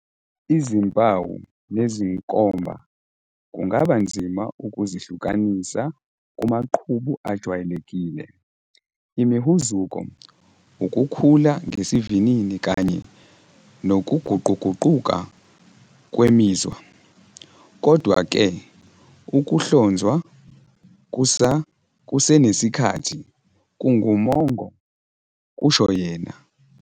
"Izimpawu nezinkomba kungaba nzima ukuzihlukanisa kumaqhubu ajwayelekile, imihuzuko, ukukhula ngesivinini kanye nokuguquguquka kwemizwa. Kodwa-ke, ukuhlonzwa kusenesikhathi kungumongo," kusho yena.